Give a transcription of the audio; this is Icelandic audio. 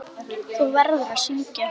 Þú verður að syngja.